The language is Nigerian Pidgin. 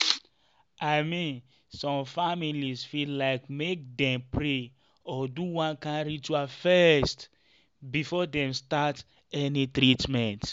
i mean some families fit like make dem pray or do one kind ritual first before dem start any treatment.